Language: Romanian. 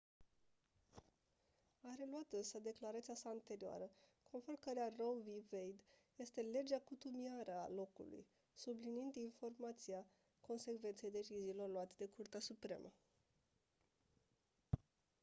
a reluat însă declarația sa anterioară conform căreia roe v. wade este «legea cutumiară a locului» subliniind importanța consecvenței deciziilor luate de curtea supremă.